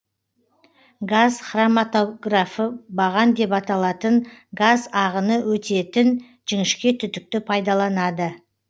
газ хроматографы баған деп аталатын газ ағыны өтетеін жіңішке түтікті пайдаланады